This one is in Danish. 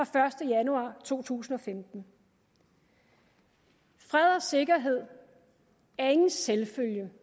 første januar to tusind og femten fred og sikkerhed er ingen selvfølge